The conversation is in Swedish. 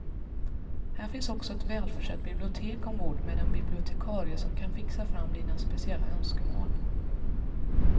Här finns också ett välförsett bibliotek ombord med en bibliotekarie som kan fixa fram dina speciella önskemål.